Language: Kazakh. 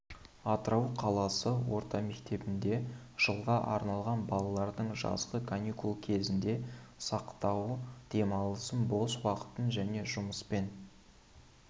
атырау қаласы орта мектебінде жылға арналған балалардың жазғы каникул кезеңінде сауықтыру демалысын бос уақытын және жұмыспен